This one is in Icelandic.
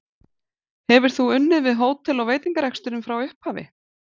Hefur þú unnið við hótel- og veitingareksturinn frá upphafi?